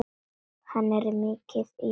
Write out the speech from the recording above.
Hann er mikið í mér.